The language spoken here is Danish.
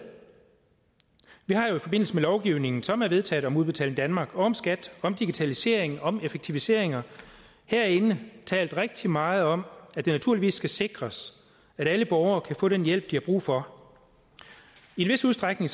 vi har jo i forbindelse med lovgivningen som er vedtaget om udbetaling danmark og om skat om digitalisering og om effektiviseringer herinde talt rigtig meget om at det naturligvis skal sikres at alle borgere kan få den hjælp de har brug for i en vis udstrækning